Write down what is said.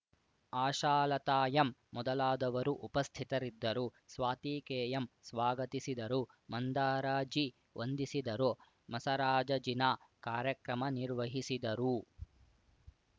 Ashalatha M ಮೊದಲಾದವರು ಉಪಸ್ಥಿತರಿದ್ದರು Swathi K M ಸ್ವಾಗತಿಸಿದರು ಮಂದಾರ ಜಿ ವಂದಿಸಿದರು ಮಸರಾಜಜಿನಾ ಕಾರ್ಯಕ್ರಮ ನಿರ್ವಹಿಸಿದರು